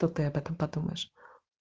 то ты об этом подумаешь